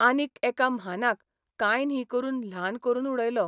आनीक एका म्हानाक कांय न्ही करून ल्हान करून उडयलो...